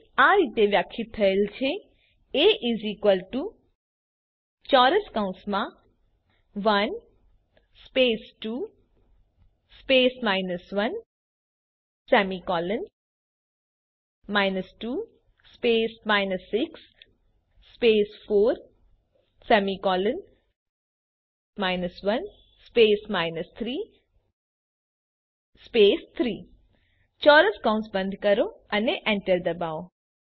એ આ રીતે વ્યાખ્યાયિત થયેલ છે એ 1 2 1 2 6 4 1 3 3 ચોરસ કૌસ બંધ કરો અને એન્ટર ડબાઓ